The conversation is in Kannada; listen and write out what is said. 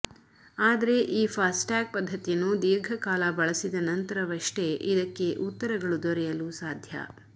ಆದರೆ ಈ ಫಾಸ್ಟ್ಟ್ಯಾಗ್ ಪದ್ಧತಿಯನ್ನು ದೀರ್ಘ ಕಾಲ ಬಳಸಿದ ನಂತರವಷ್ಟೇ ಇದಕ್ಕೆ ಉತ್ತರಗಳು ದೊರೆಯಲು ಸಾಧ್ಯ